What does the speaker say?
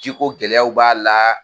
Ji ko gɛlɛyaw b'a la